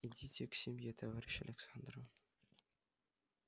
идите к семье товарищ александра